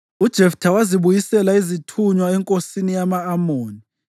UJeftha wazibuyisela izithunywa enkosini yama-Amoni